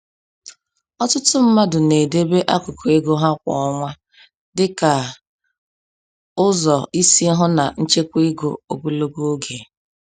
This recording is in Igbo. Ọtụtụ mmadụ na-edebe akụkụ ego ha kwa ọnwa dịka ụzọ isi hụ na nchekwa ego ogologo oge.